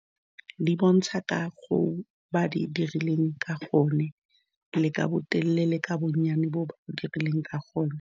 Di bontsha ka go ba di dirileng ka gonne le ka botelele ka bonnyane bo bo dirileng ka gone.